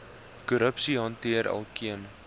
korrupsie hanteer elkeen